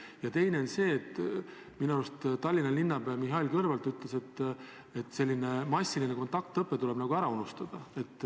Ja teine asi on see, et minu arust ütles Tallinna linnapea Mihhail Kõlvart, et massiline kontaktõpe tuleb ära unustada.